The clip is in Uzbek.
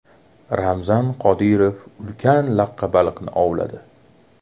Ramzan Qodirov ulkan laqqa baliqni ovladi.